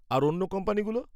আর অন্য কোম্পানিগুলো?